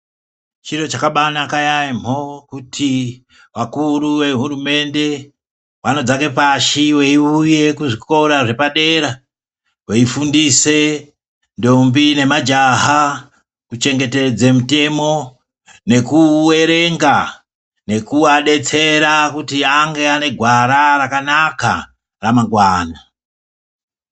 Chiro chakabaanaka yaamho kuti vakuru vehurumende vanodzake pashi veiuye kuzvikora zvepadera veifundise ndombi nemajaha kuchengetedze mutemo nekuuwerenga nekuadetsera kuti ange ane gwara rakanaka ramangwana.